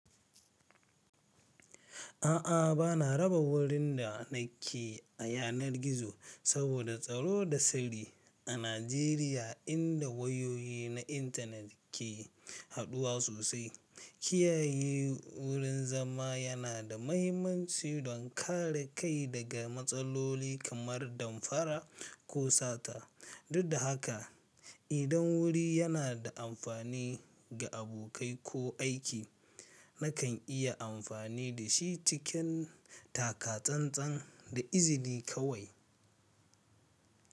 A'a, bana raba wurin da nake a yanar gizo saboda tsaro da sirri. A Najeriya, inda wayoyi na intanet ke haɗuwa sosai, kiyaye wurin zama yana da mahimmanci don kare kai daga matsaloli kamar damfara ko sata. Duk da haka, idan wuri yana da amfani ga abokai ko aiki, nakan iya amfani da shi cikin takatsantsan da izini kawai.